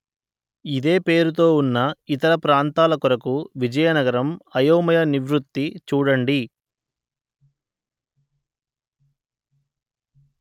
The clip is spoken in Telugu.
ఇదే పేరుతో ఉన్న ఇతర ప్రాంతాల కొరకు విజయనగరం అయోమయ నివృత్తి చూడండి